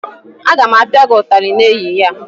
Aga m apia gị ụtarị n'ehihie!